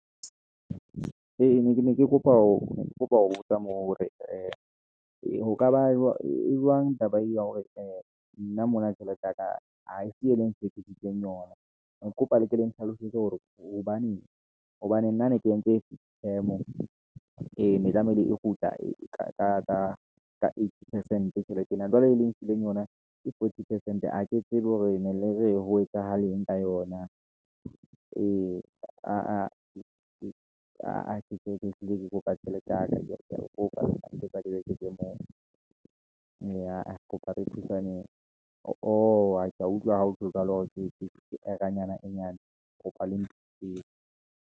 Ee, ke ne ke kopa ho botsa moo, hore ee ho kaba jwang taba eo ya hore nna mona tjhelete ya ka, ha e se e leng tshepisitseng yona. Ne ke kopa le ke le nhlalosetse hore hobaneng, hobane nna ne ke entse temo, ene tlamehile e kgutla e ka eighty percent tjhelete ena. Jwale le nkileng yona ke forty percent, ha ke tsebe hore ne le re ho etsahalang ka yona, ee aa ha ketsebe ehlile ke kopa tjhelete ya ka, ke ya le kopa neke ke kopa le eketse moo, ee aa ke kopa re thusaneng. ooh ke ya utlwa ha ho jwalo, hore ke error-anyana e nyane, Ke kopa le nthuseng.